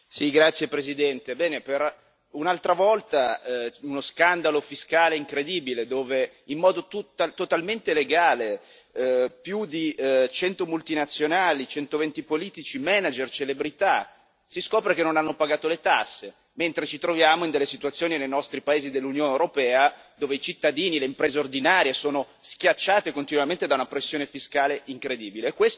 Signora Presidente, onorevoli colleghi, per un'altra volta uno scandalo fiscale incredibile, dove si scopre che, in modo totalmente legale, più di 100 multinazionali, 120 politici, manager e celebrità non hanno pagato le tasse, mentre ci troviamo in delle situazioni, nei nostri paesi dell'Unione europea, dove i cittadini e le imprese ordinarie sono schiacciati continuamente da una pressione fiscale incredibile.